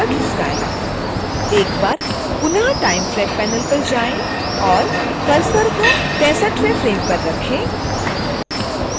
एक बार पुनः time track panel पर जाएँ और cursor को 63